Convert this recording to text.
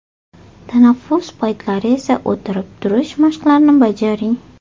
Tanaffus paytlari esa o‘tirib-turish mashqlarini bajaring.